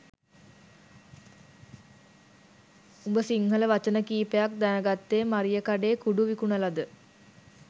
උඹ සිංහල වචන කීපයක් දැනගත්තෙ මරියකඩේ කුඩු විකුණලද?